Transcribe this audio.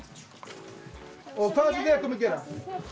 og hvað ætlið þið að gera